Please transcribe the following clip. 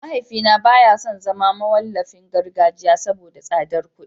Mahaifina baya son zama mawallafin gargajiya saboda tsadar kuɗi